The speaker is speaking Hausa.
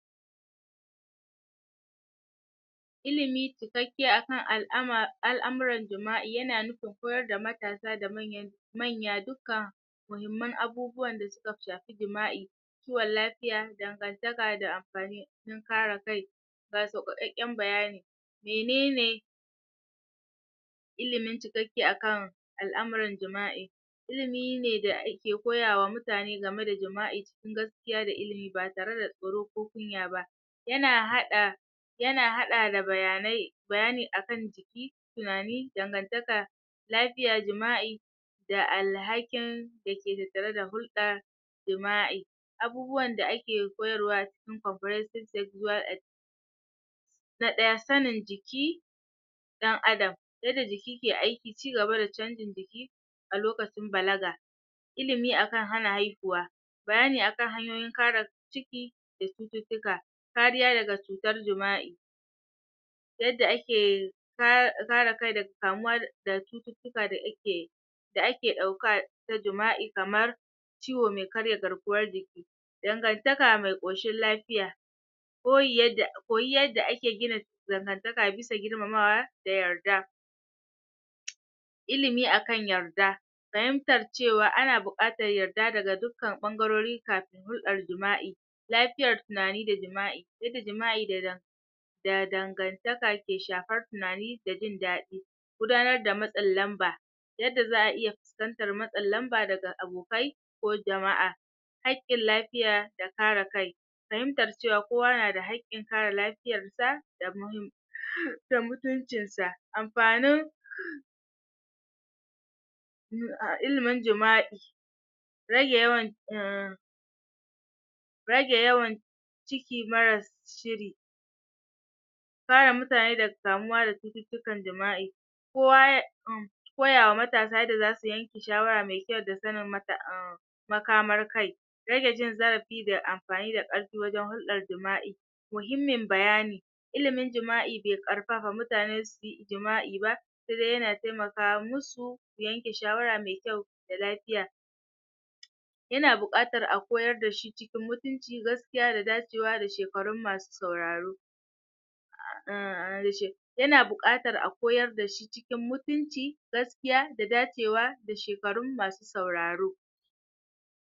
ilimi cikakke akan um al'amuran jima'i yana nufin koyar da matasa da manyan manya duka muhimman abubuwan da suka shafi jima'i kiwon lafiya, dangantaka da amfani kare kai ga sauƙaƙƙen bayani menene ilimin cikakke akan al'amuran jima'i ilimi ne da ake koya wa mutane game da jima'i cikin gaskiya da ilimi ba tare tsoro ko kunya ba yana haɗa yana haɗa da bayanai bayani akan tunani dangantaka lafiya jima'i da alhakin dake tattare da hulɗa jima'i abubuwan da ake koyarwa cikin comprehensive sexual ed na ɗaya sanin jiki ɗan Adam yadda jiki ke aiki cigaba da canjin jiki a lokacin balaga ilimi akan hana haihuwa bayani akan hanyoyin kare ciki da cututtuka kariya daga cutar jima'i ta yadda ake kare kai daga kamuwa da cututtuka da ake da ake ɗauka ta jima'i kamar ciwo me karya garkuwar jiki dangantaka me ƙoshin lafiya koyi yadda koyi yadda ake gina dangantaka bisa girmamawa da yarda ilimi akan yarda fahimtar cewa ana buƙatar yarda daga dukkan ɓangarori kafin hulɗar jima'i lafiyar tunani da jima'i yadda jima'i da da dangantaka ke shafar tunani da jin daɗi gudanar da matsin lamba yadda za'a iya fuskantar matsin lamba daga abokai ko jama'a haƙƙin lafiya da kare kai fahimtar cewa kowa na da haƙƙin kare lafiyar sa da da mutuncin sa amfanin um ilimin jima'i rage yawan um rage yawan ciki marar shiri kare mutane daga kamuwa da cututtukar jima'i kowa ya koya wa matasa yadda zasu yanke shawara me kyau da sanin makamar kai rage jin zarafi da amfani da ƙarfi wajen hulɗar jima'i muhimmin bayani ilimin jima'i be ƙarfafa mutane su yi jima;i ba se dai yana temaka mu su su yanke shawara me kyau da lafiya yana buƙatar a koyar da shi cikin mutunci gaskiya da dacewa da shekarun masu sauraro um yana buƙatar a koyar da shi cikin mutunci gaskiya da dacewa da shekarun masu sauraro